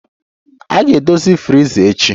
A ga-edozi friza echi